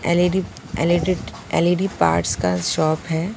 L E D L E D L E D parts का shop है।